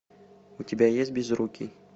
у тебя есть безрукий